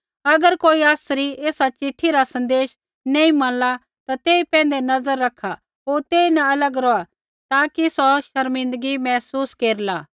अगर कोई आसरी एसा चिट्ठी रा सन्देश नैंई मनला ता तेई पैंधै नज़र रखा होर तेइन अलग रौहा ताकि सौ शर्मिंदा महसूस केरला